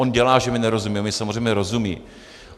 On dělá, že mi nerozumí, on mi samozřejmě rozumí.